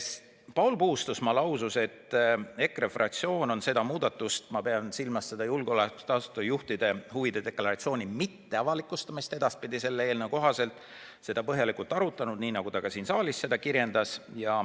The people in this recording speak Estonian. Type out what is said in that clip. Paul Puustusmaa lausus, et EKRE fraktsioon on seda muudatust – ma pean silmas julgeolekuasutuste juhtide huvide deklaratsiooni mitteavalikustamist, mis sellest eelnõust tuleneb – põhjalikult arutanud, nagu ta ka siin saalis kirjeldas.